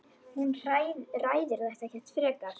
Hún ræðir þetta ekkert frekar.